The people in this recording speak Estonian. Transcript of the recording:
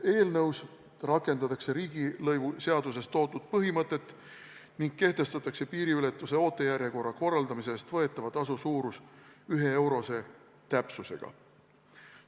Eelnõus rakendatakse riigilõivuseaduses toodud põhimõtet ning kehtestatakse piiriületuse ootejärjekorra korraldamise eest võetava tasu suurus 1-eurose täpsusega.